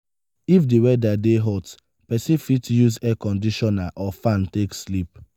if di weather dey hot person fit use air conditioner or fan take sleep